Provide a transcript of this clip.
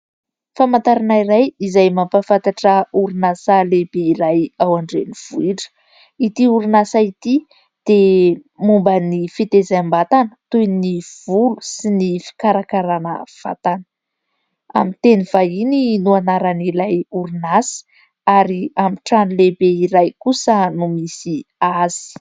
Famantarana iray izay mampafantatra orinasa lehibe iray ao an-drenivohitra. Itỳ orinasa itỳ dia momba ny fitaizam-batana toy ny volo sy ny fikarakarana vatana. Amin'ny teny vahiny no anaran'ilay orinasa ary amin'ny trano lehibe iray kosa no misy azy.